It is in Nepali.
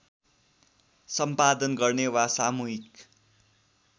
सम्पादन गर्ने वा सामूहिक